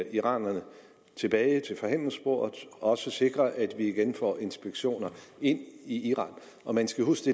iranerne tilbage til forhandlingsbordet og også sikre at vi igen får inspektioner ind i iran og man skal huske